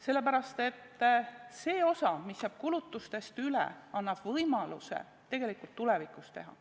Sellepärast, et see osa, mis jääb kulutustest üle, annab võimaluse tegelikult tulevikus teha.